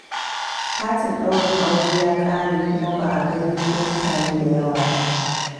Katin daurin auren ya ƙare kuma ba a gayyato mutane da yawa ba.